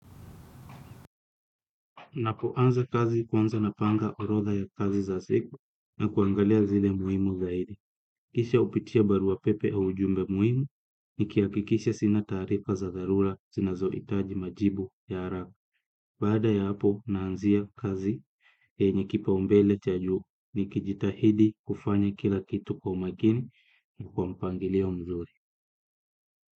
Napoanza kazi, kwanza napanga orodha ya kazi za siku na kuangalia zile muhimu zaidi. Kisha hupitia barua pepe u ujumbe muhimu nikihakikisha sina taarifa za dharula zinazohitaji majibu ya haraka. Baada ya hapo naanzia kazi yenye kipaumbele cha juu nikijitahidi kufanya kila kitu kwa umakini, kwa mpangilio mzuri.